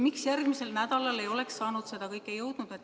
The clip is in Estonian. Miks järgmisel nädalal ei oleks saanud seda teha?